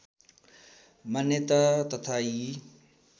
मान्यता तथा यी